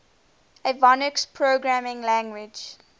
avionics programming language